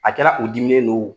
A kɛra u diminen don o